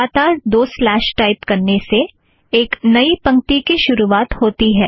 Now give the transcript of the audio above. लगातार दो slash type करने से एक नई पंक्ति की शुरूवात होती है